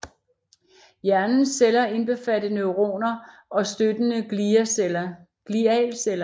Hjernens celler indbefatter neuroner og støttende glialceller